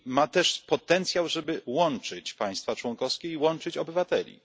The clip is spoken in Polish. I ma też potencjał, żeby łączyć państwa członkowskie i łączyć obywateli.